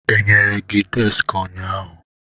Enyere gị deski ụnyaahụ?